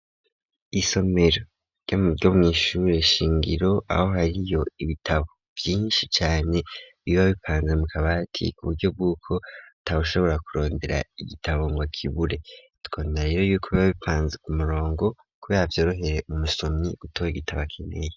Isomero ryo mw'ishure shingiro aho hariyo ibitabo vyinshi cane biba bipanza mu kabati ku buryo bw'uko ata ushobora kurondera igitabo ngo akibure, tukabona rero yuko biba bipanze ku murongo kubera vyorohere umusomyi gutora igitabo akeneye.